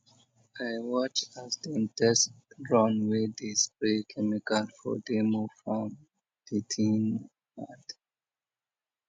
i watch as dem test drone wey dey spray chemical for demo farm the thing mad